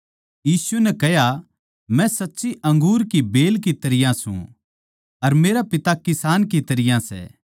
यीशु नै कह्या मै साच्ची अंगूर की बेल की तरियां सूं अर मेरा पिता किसान की तरियां सै